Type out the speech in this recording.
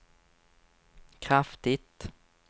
kraftigt